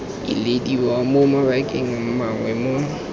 ilediwa mo mabakeng mangwe mo